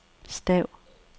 stav